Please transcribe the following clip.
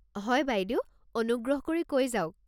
হয় বাইদেউ অনুগ্ৰহ কৰি কৈ যাওক।